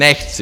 Nechci!